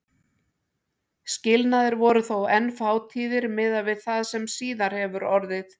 Skilnaðir voru þó enn fátíðir miðað við það sem síðar hefur orðið.